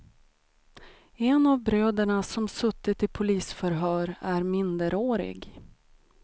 En av bröderna som suttit i polisförhör är minderårig.